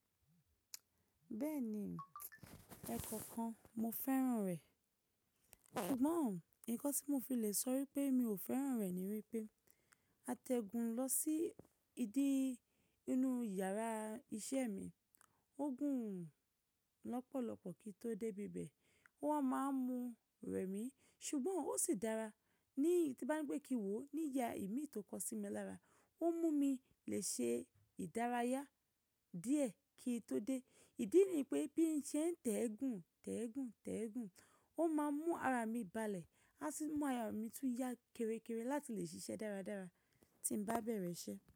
Bẹ́ẹ̀ni, ẹ̀ kọ̀ọ̀kan mo fẹ́ràn rẹ̀. Ṣùgbọ́n nǹkan tí mo fi le sọ wípé mi ò fẹ́ràn rẹ̀ ni wípé a tẹ́gùn lọ sí ìdí inú yàrá iṣẹ́ mi. Ó gùn lọ́pọ̀lọpọ̀ kí i tó dé ibẹ̀. Wọ́n máa ń mú rẹ̀ mí, ṣùgbọ́n ó sì dára ní tí n bani kín wò ó ní ìyà imi tó kọ sí mi lára. Ó mú mi le ṣe ìdárayá díẹ̀ kí i tó dé. Ìdí ni pé bí n ṣe ń tẹ́gùn, tẹ́gùn, tẹ́gùn, ó máa mú ara mi balẹ̀. A sì mú ara mi tún yá kere kere láti lè ṣiṣẹ́ dáradára tí mo bá bẹ̀rẹ̀ iṣẹ́.